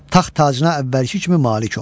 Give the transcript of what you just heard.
Taxt tacına əvvəlki kimi malik oldu.